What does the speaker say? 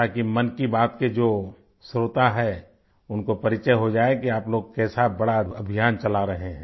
ताकि मन की बात के जो श्रोता हैं उनको परिचय हो जाए कि आप लोग कैसा बड़ा अभियान चला रहे है